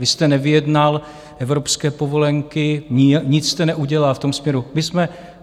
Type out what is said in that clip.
Vy jste nevyjednal evropské povolenky, nic jste neudělal v tom směru.